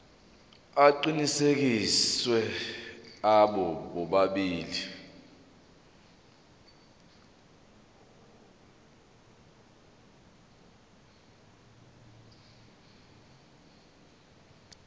aqinisekisiwe abo bobabili